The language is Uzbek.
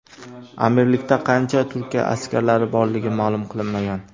Amirlikda qancha Turkiya askarlari borligi ma’lum qilinmagan.